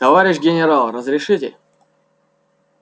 товарищ генерал разрешите